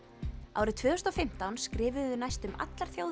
árið tvö þúsund og fimmtán skrifuðu næstum allar þjóðir